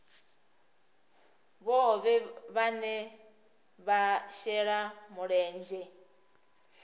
vhohe vhane vha shela mulenzhe